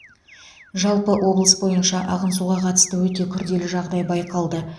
жалпы облыс бойынша ағын суға қатысты өте күрделі жағдай байқалды